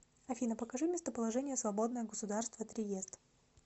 афина покажи местоположение свободное государство триест